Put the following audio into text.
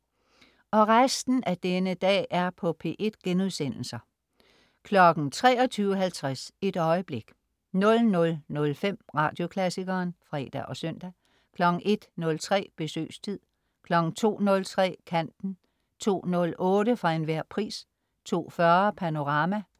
23.50 Et øjeblik* 00.05 Radioklassikeren* (fre og søn) 01.03 Besøgstid* 02.03 Kanten* 02.08 For enhver pris* 02.40 Panorama*